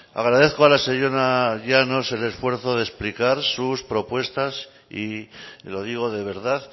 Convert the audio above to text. agradezco a la señora llanos el esfuerzo de explicar sus propuestas y lo digo de verdad